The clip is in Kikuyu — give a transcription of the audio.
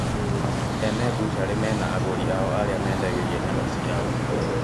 Ene bucarĩ mena agũri ao arĩa mendagĩria nyama ciao